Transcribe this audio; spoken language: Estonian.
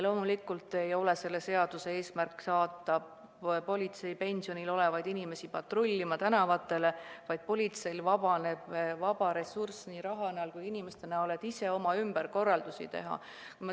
Loomulikult ei ole selle seaduseelnõu eesmärk saata politseipensionil olevaid inimesi tänavatele patrullima, aga politseil vabaneb vaba ressurss nii raha kui ka inimeste näol ning nad saavad ise oma ümberkorraldusi teha.